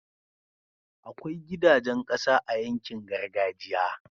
akwai gidajan ƙasa a yankin gargajiya